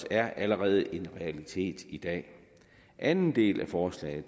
er allerede en realitet i dag anden del af forslaget